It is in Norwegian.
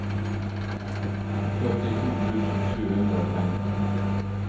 førtito tusen sju hundre og femten